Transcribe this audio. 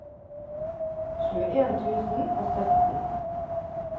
tjueen tusen og sytten